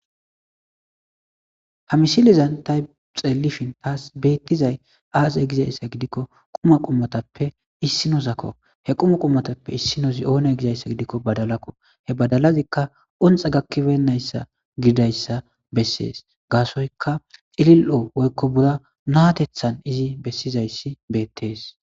Ha misilizan ta xeelifin taas beettizay aase gizayssa gidikko quma qummatappe issinosakko he quma qummatappe issinozi7oone gizayssa gidikko badalakko he badalazikka onxa gakkibennayssa gidayssa bessees gaasoyka xilil7o woykko bura naatethan izi bessizayssi beettees.